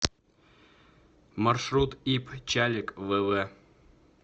маршрут ип чалик вв